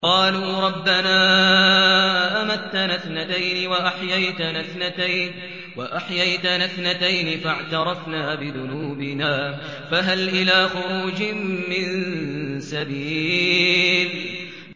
قَالُوا رَبَّنَا أَمَتَّنَا اثْنَتَيْنِ وَأَحْيَيْتَنَا اثْنَتَيْنِ فَاعْتَرَفْنَا بِذُنُوبِنَا فَهَلْ إِلَىٰ خُرُوجٍ مِّن سَبِيلٍ